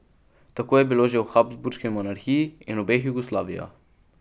Tako je bilo že v habsburški monarhiji in obeh Jugoslavijah.